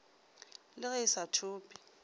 le ge a sa thope